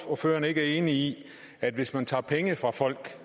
ordføreren ikke er enig i at hvis man tager penge fra folk